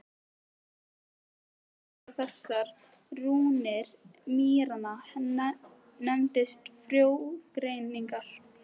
Aðferðin til að ráða þessar rúnir mýranna nefnist frjógreining.